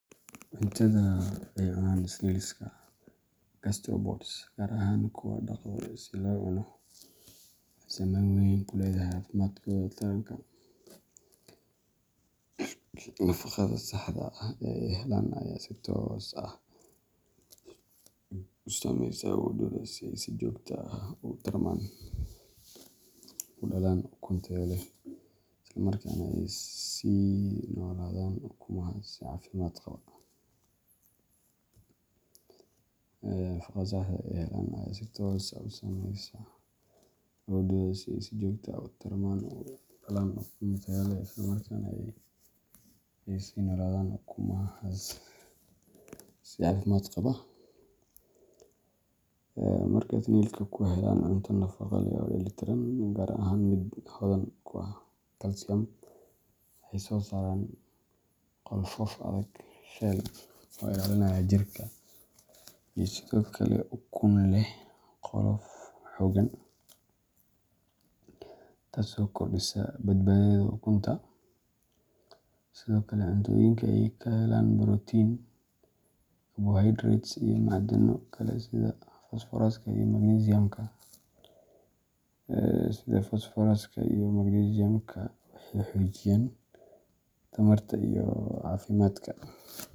Cuntada ay cunaan snails-ka gastropods, gaar ahaan kuwa la dhaqdo si loo cuno, waxay saameyn weyn ku leedahay caafimaadkooda taranka. Nafaqada saxda ah ee ay helaan ayaa si toos ah u saameysa awooddooda inay si joogto ah u tarmaan, u dhalaan ukun tayo leh, islamarkaana ay sii noolaadaan ukumahaas si caafimaad qaba. Marka snails-ku helaan cunto nafaqo leh oo dheellitiran, gaar ahaan mid hodan ku ah kalsiyam, waxay soo saaraan qolfoof adag shell oo ilaalinaya jirka, iyo sidoo kale ukun leh qolof xooggan, taasoo kordhisa badbaadada ukunta. Sidoo kale, cuntooyinka ay ka helaan borotiin, carbohydrates, iyo macdano kale sida fosfooraska iyo magnesium-ka waxay xoojiyaan tamarta iyo caafimaadka